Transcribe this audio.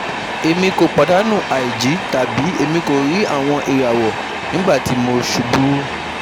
Emi ko padanu aiji, tabi Emi ko ri awọn irawọ nigbati mo ṣubu